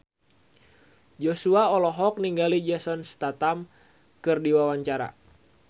Joshua olohok ningali Jason Statham keur diwawancara